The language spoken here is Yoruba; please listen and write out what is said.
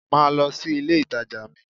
Máa lọ sí ilé ìtajà mi!